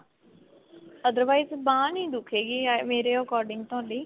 otherwise ਬਾਂਹ ਨੀ ਦੁੱਖੇਗੀ ਮੇਰੇ according ਤੁਹਾਡੀ